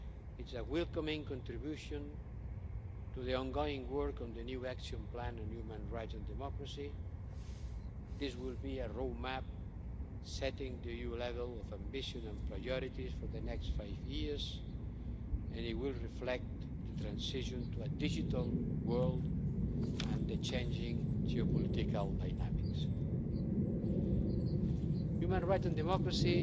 It's a welcome contribution to the ongoing work on the new Action Plan on Human Rights and Democracy. This will be a roadmap setting the EU level of ambition and priorities for the next five years and it will reflect the transition to a digital world and the changing geopolitical dynamics. Human rights and democracy